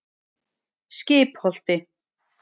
Stærsti hluti landsins er eyðimörk.